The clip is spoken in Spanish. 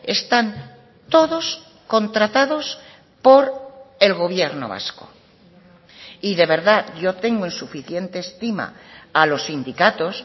están todos contratados por el gobierno vasco y de verdad yo tengo en suficiente estima a los sindicatos